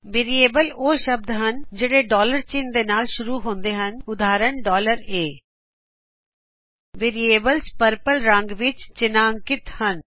variables ਉਹ ਸ਼ਬਦ ਹਨ ਜਿਹੜੇ ਚਿਨ੍ਹ ਦੇ ਨਾਲ ਸ਼ੁਰੂ ਹੁੰਦਾ ਹੈ ਉਦਾਹਰਨ ਵਜੋਂ a ਵੇਰਿਏਬਲਸ ਪਰਪਲ ਰੰਗ ਵਿੱਚ ਉਜਾਗਰ ਹੈਂ